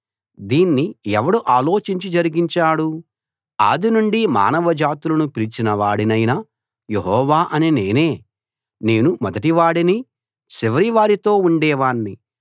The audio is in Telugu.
దీన్ని ఎవడు ఆలోచించి జరిగించాడు ఆదినుండి మానవ జాతులను పిలిచిన వాడినైన యెహోవా అనే నేనే నేను మొదటివాడిని చివరి వారితో ఉండేవాణ్ణి